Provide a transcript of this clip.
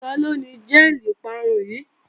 Taló ni jẹ́ẹ̀lì ìparun yìí?